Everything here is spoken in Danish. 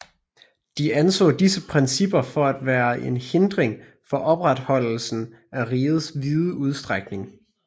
De anså disse principper for at være en hindring for opretholdelsen af rigets vide udstrækning